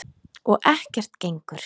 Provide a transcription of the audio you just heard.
Og ekkert gengur.